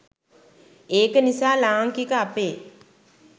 ඒක නිසා ලාංකික අපේ